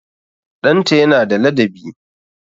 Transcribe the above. Ɗanta yana da ladabi